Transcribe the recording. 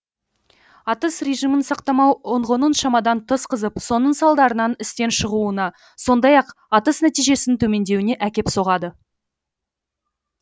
атыс режимін сақтамау ұңғының шамадан тыс қызып соның салдарынан істен шығуына сондай ақ атыс нәтижесінің төмендеуіне әкеп соғады